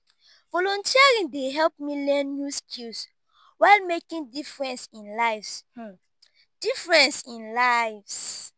volunteering dey help me learn new skills while making difference in lives. difference in lives.